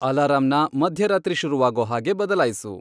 ಅಲಾರಂನ ಮಧ್ಯರಾತ್ರಿ ಶುರುವಾಗೋ ಹಾಗೆ ಬದಲಾಯ್ಸು